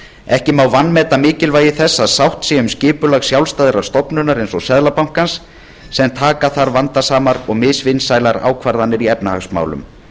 ekki má vanmeta mikilvægi þess að sátt sé um skipulag sjálfstæðrar stofnunar eins og seðlabankans sem taka þarf vandasamar og misvinsælar ákvarðanir í efnahagsmálum